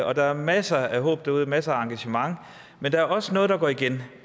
og der er masser af håb derude masser af engagement men der er også noget der går igen